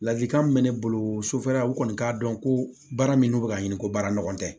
Ladilikan min bɛ ne bolo sofɛrila u kɔni k'a dɔn ko baara min n'u bɛ ka ɲini ko baara ɲɔgɔn tɛ